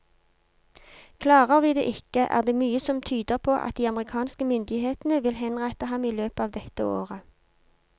Klarer vi det ikke, er det mye som tyder på at de amerikanske myndighetene vil henrette ham i løpet av dette året.